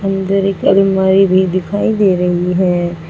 इधर एक अलमारी भी दिखाई दे रही है।